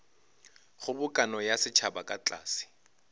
kgobokano ya setšhaba ka tlase